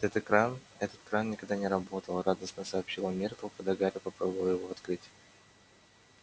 этот экран этот кран никогда не работал радостно сообщила миртл когда гарри попробовал его открыть